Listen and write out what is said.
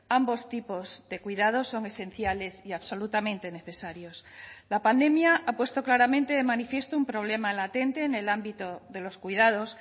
ambos tipos de cuidados son esenciales y absolutamente necesarios la pandemia ha puesto claramente de manifiesto un problema latente en el ámbito de los cuidados